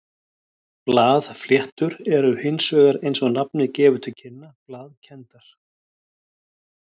Blaðfléttur eru hins vegar eins og nafnið gefur til kynna blaðkenndar.